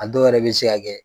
A dɔw yɛrɛ bɛ se ka kɛ.